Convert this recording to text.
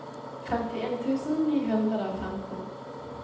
femtien tusen ni hundre og femten